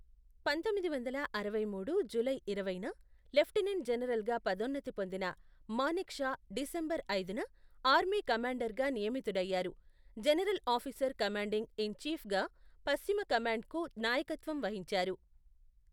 పంతొమ్మిది వందల అరవై మూడు జూలై ఇరవైన, లెఫ్టినెంట్ జనరల్గా పదోన్నతి పొందిన మానెక్ షా డిసెంబర్ ఐదున, ఆర్మీ కమాండర్గా నియమితుడయ్యారు, జనరల్ ఆఫీసర్ కమాండింగ్ ఇన్ చీఫ్గా పశ్చిమ కమాండ్కు నాయకత్వం వహించారు.